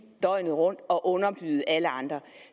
døgnet rundt og underbyde alle andre